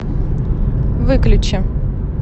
выключи